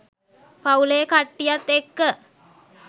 පවු‍ලේ කට්ටියත් එක්ක